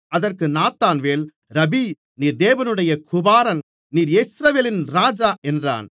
அதற்கு நாத்தான்வேல் ரபீ நீர் தேவனுடைய குமாரன் நீர் இஸ்ரவேலின் ராஜா என்றான்